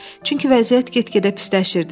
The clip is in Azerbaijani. çünki vəziyyət get-gedə pisləşirdi.